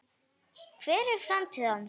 Hver er framtíð hans?